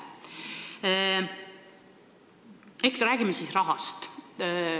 Räägime rahast.